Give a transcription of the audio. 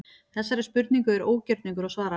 Þessari spurningu er ógjörningur að svara.